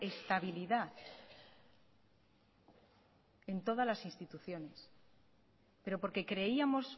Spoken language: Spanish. estabilidad en todas las instituciones pero porque creíamos